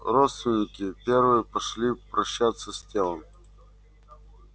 родственники первые пошли прощаться с телом